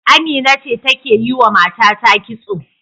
Amina ce take yiwa matata kitso.